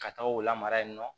Ka taa o lamara yen nɔ